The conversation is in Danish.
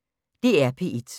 DR P1